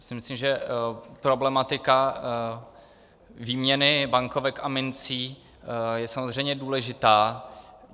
Myslím si, že problematika výměny bankovek a mincí je samozřejmě důležitá.